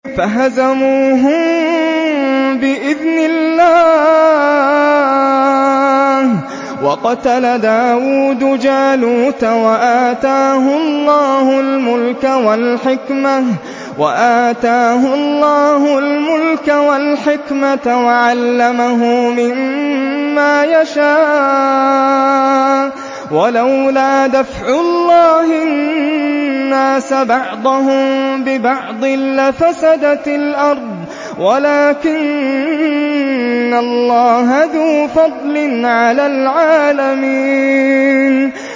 فَهَزَمُوهُم بِإِذْنِ اللَّهِ وَقَتَلَ دَاوُودُ جَالُوتَ وَآتَاهُ اللَّهُ الْمُلْكَ وَالْحِكْمَةَ وَعَلَّمَهُ مِمَّا يَشَاءُ ۗ وَلَوْلَا دَفْعُ اللَّهِ النَّاسَ بَعْضَهُم بِبَعْضٍ لَّفَسَدَتِ الْأَرْضُ وَلَٰكِنَّ اللَّهَ ذُو فَضْلٍ عَلَى الْعَالَمِينَ